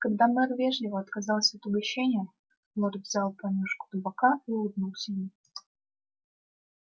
когда мэр вежливо отказался от угощения лорд взял понюшку табака и улыбнулся ему